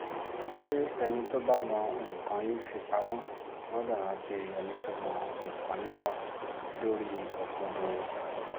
ṣé ẹni tó bá mọ nǹkan í fi pamọ gbọ́dọ̀ rántí ẹni tí mọ nǹkan í wá dórí òkodoro